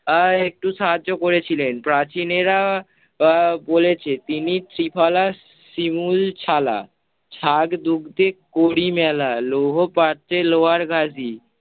আহ একটু সাহায্য করেছিলেন, প্রাচীনেরা আহ বলেছে তিনি ত্রিফলা শিমুল ছালা । ছাগদুগ্ধে করি মেলা লৌহ প্রাচ্যে লোহার গাদি